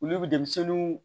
Olu bɛ denmisɛnninw